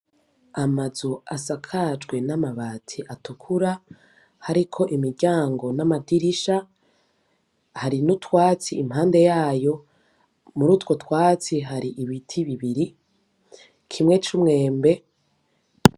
Amazu asakajwe n'amabati atukura, Hariko imiryango n'amadirisha, Hari n'utwatsi impande yayo, mur'utwo twatsi hari ibiti bibiri, kimwe c'umwembe.